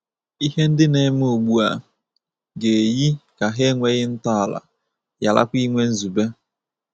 Ihe ndị na-eme ugbu a ga-eyi ka hà enweghị ntọala, gharakwa inwe nzube.